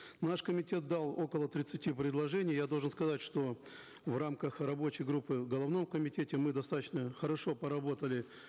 наш комитет дал около тридцати предложений я должен сказать что в рамках рабочей группы в головном комитете мы достаточно хорошо поработали